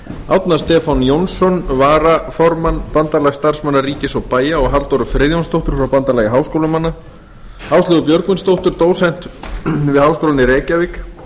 árna stefán jónsson varaformann bandalags starfsmanna ríkis og bæja og halldóru friðjónsdóttur frá bandalagi háskólamanna áslaugu björgvinsdóttur dósent við háskólann í reykjavík